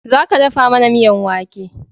Za ka dafa mana miyan wake!